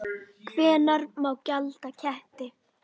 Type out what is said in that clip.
Hvenær má gelda ketti?